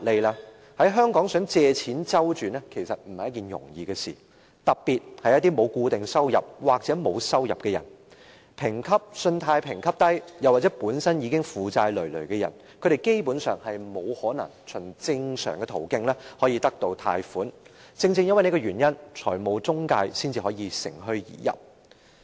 在香港想借錢周轉絕非易事，特別是沒有固定收入或沒有收入的人，信貸評級低或本身已負債累累的人，他們基本上不可能循正常途徑得到貸款，正因如此，財務中介才能乘虛而入。